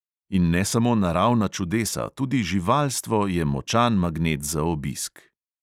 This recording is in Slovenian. In ne samo naravna čudesa, tudi živalstvo je močan magnet za obisk.